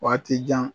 Waati jan